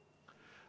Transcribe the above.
Istung on lõppenud.